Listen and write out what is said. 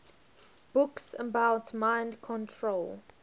books about mind control